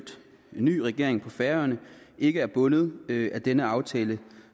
ny regering på færøerne ikke er bundet af den aftale